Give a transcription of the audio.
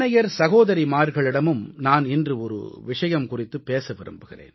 சகோதரிமார்களிடமும் நான் இன்று ஒரு விஷயம் குறித்துப் பேச விரும்புகிறேன்